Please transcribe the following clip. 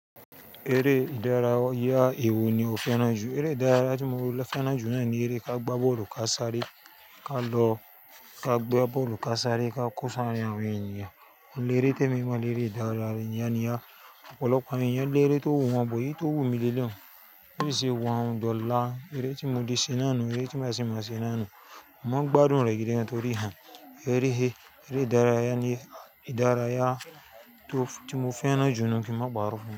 Ẹrẹ́ ìdárayá ewò ni ó fẹ́rà jù. Ẹrẹ́ ìdárayá tí mo fẹ́rà jù na ni eré ka gba bọ́ọ̀lù ká sáré ká lọ ká gba bọ́ọ̀lù ká sáré ká kó sarin àwọn ènìyàn. Ohun ni eré tí èmi mọ̀ ní eré ìdárayá ọ̀pọ̀lọpọ̀ àwọn èèyàn lere tó wù wọ́n bọ èyí tó wù mí leleyi. Ó sì wọ́n dọ̀la. Ẹrẹ́ tí mo ti ṣená nu, ẹrẹ́ tí màá sì máa ṣená nu. Mo máa ń gbádùn rẹ̀ gidi gan torí ha. Ẹrẹ́ he. Ẹrẹ́ ìdárayá ni ìdárayá tó ti mo fẹ́rà jù ni kí n máa paro fún un.